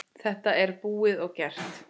Þetta er búið og gert.